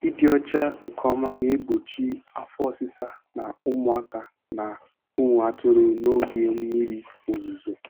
Ịdị ọcha nke ọma na-egbochi afọ ọsịsa na ụmụaka na ụmụ atụrụ n'oge mmiri ozuzo.